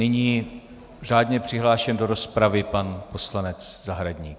Nyní řádně přihlášen do rozpravy pan poslanec Zahradník.